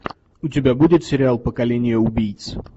у тебя будет сериал поколение убийц